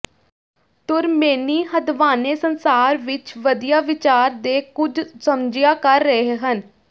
ਤੁਰਮੇਨੀ ਹਦਵਾਣੇ ਸੰਸਾਰ ਵਿੱਚ ਵਧੀਆ ਵਿਚਾਰ ਦੇ ਕੁਝ ਸਮਝਿਆ ਕਰ ਰਹੇ ਹਨ